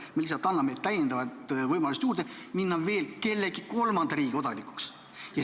Me lihtsalt anname täiendavad võimalused minna veel kellegi kolmanda riigi kodanikuks.